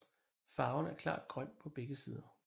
Farven er klart grøn på begge sider